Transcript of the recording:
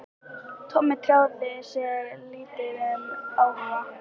Tommi tjáði sig lítið um áhuga